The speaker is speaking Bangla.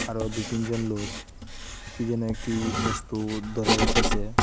আরও দুই-তিনজন লোক কী যেন একটি বস্তু ধরে রেখেসে।